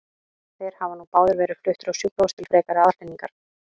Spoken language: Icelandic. Þeir hafa nú báðir verið fluttir á sjúkrahús til frekari aðhlynningar.